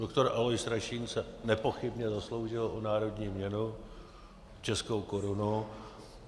Doktor Alois Rašín se nepochybně zasloužil o národní měnu, českou korunu.